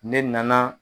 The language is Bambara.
Ne nana